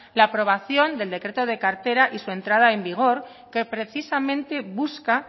la aprobación del decreto de cartera y su entrada en vigor que precisamente busca